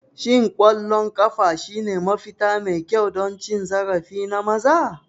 Shin ƙwallon ƙafa shine mafita mai kyau don cin zarafi na maza?